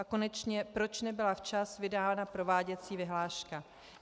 A konečně, proč nebyla včas vydána prováděcí vyhláška?